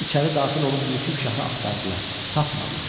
İçəri daxil olub Yusif şahı axtardılar, tapmadılar.